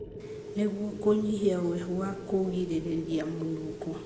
nĩguo kũnyihia ũhehu wa kũgirĩrĩria mũnungo.